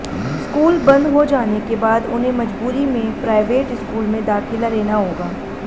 school बंद हो जाने के बाद उन्हे मजबूरी में प्राइवेट स्कूल में दाखिला लेना होगा